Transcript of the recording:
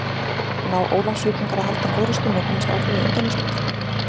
Ná Ólafsvíkingar að halda forystunni og komast áfram í undanúrslitin?